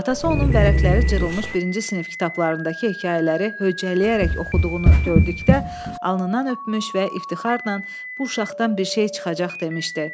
Atası onun vərəqləri cırılmış birinci sinif kitablarındakı hekayələri höccələyərək oxuduğunu gördükdə, alnından öpmüş və iftixardan bu uşaqdan bir şey çıxacaq demişdi.